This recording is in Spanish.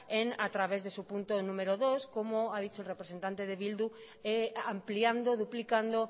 en a través de su punto número dos como ha dicho el representante de bildu ampliando duplicando